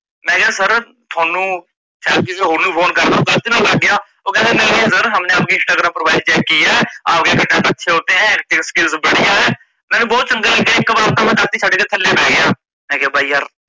ਮੈਕਿਹਾ sir ਤੁਹਾਨੂੰ ਸ਼ਾਇਦ ਕਿਸੇ ਹੋਰ ਨੂੰ phone ਫ਼ੋਨ ਕਰਨਾ ਹੋਵੇ ਗਲਤੀ ਨਾਲ ਲੱਗ ਗਿਆ ਓਹ ਕਹਿੰਦਾ ਨਹੀਂ ਨਹੀਂ sir ਹਮਨੇ ਆਪਕੀ ਇੰਸਟਾਗ੍ਰਾਮ profile check ਕੀ ਹੈ, ਆਪਕੇ content ਅੱਛੇ ਹੋਤੇ ਹੈ, acting excuse ਬੜਿਆ ਹੈ, ਮੈਂਨੂੰ ਬਹੁਤ ਚੰਗਾ ਲੱਗਿਆ ਇੱਕ ਬਾਰ ਤਾਂ ਮੈ ਦਾਤੀ ਛੱਡ ਕੇ ਥੱਲੇ ਬਹਿ ਗਿਆ। ਮੈਕਿਆ ਬਾਈ ਯਾਰ